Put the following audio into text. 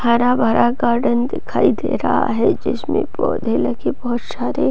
हरा-भरा गार्डन दिखाई दे रहा है जिसमे पौधे लगे बहुत सारे --